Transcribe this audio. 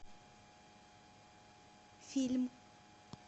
фильм